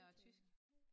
Ja og tysk